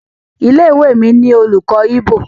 ilé-ìwé mí nilo olùkó Igbo.